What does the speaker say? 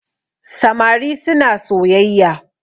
samari suna soyayya